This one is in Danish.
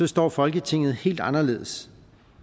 står folketinget helt anderledes